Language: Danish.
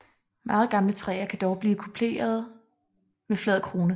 Meget gamle træer kan dog blive kuplede med flad krone